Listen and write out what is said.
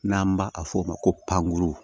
N'an b'a a ma ko pankuru